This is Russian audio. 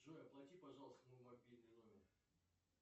джой оплати пожалуйста мой мобильный номер